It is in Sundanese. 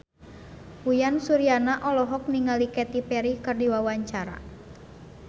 Uyan Suryana olohok ningali Katy Perry keur diwawancara